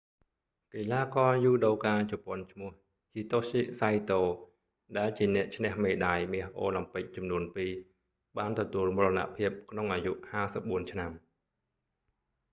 កីឡាករយូដូកាជប៉ុនឈ្មោះ hitoshi saito ដែលជាអ្នកឈ្នះមេដាយមាសអូឡាំពិកចំនួនពីរ បានទទួលមរណភាពក្នុងអាយុ 54 ឆ្នាំ